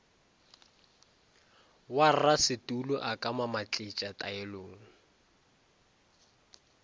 warasetulo a ka mamatletša taelong